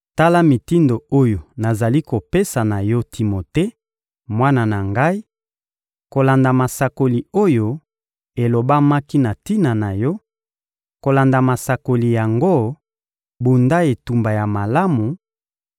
Tala mitindo oyo nazali kopesa na yo Timote, mwana na ngai, kolanda masakoli oyo elobamaki na tina na yo: kolanda masakoli yango, bunda etumba ya malamu,